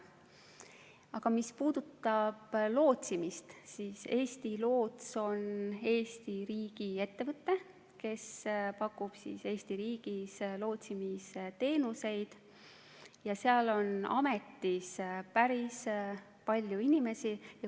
Aga mis puudutab lootsimist, siis Eesti Loots on Eesti riigiettevõte, kes pakub Eesti riigis lootsimisteenuseid, ja seal on ametis päris palju inimesi.